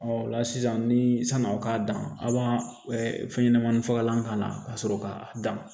o la sisan ni san'aw k'a dan a' b'a fɛn ɲɛnamanin fagalan k'a la ka sɔrɔ k'a dan